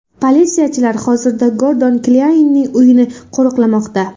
Politsiyachilar hozirda Gordon Klyaynning uyini qo‘riqlamoqda.